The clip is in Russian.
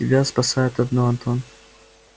тебя спасает одно антон